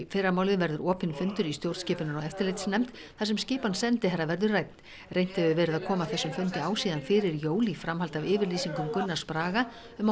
fyrramálið verður opinn fundur í stjórnskipunar og eftirlitsnefnd þar sem skipan sendiherra verður rædd reynt hefur verið að koma þessum fundi á síðan fyrir jól í framhaldi af yfirlýsingum Gunnars Braga um